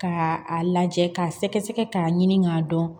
K'a lajɛ k'a sɛgɛsɛgɛ k'a ɲini k'a dɔn